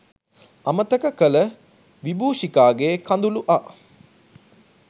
අමතක කළ විබූෂිකාගේ කඳුළුඅ